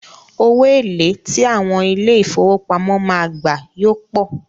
Owó èlé tí àwọn ilé ìfowópamọ́ máa gbà yóò pọ̀.